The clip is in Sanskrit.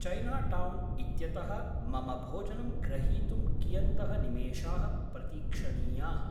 चैनाटौन् इत्यतः मम भोजनं ग्रहीतुं कियन्तः निमेषाः प्रतीक्षणीयाः?